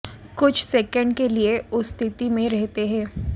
कुछ सेकंड के लिए उस स्थिति में रहते हैं